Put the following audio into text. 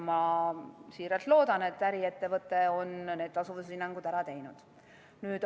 Ma siiralt loodan, et äriettevõte on need tasuvushinnangud ära teinud.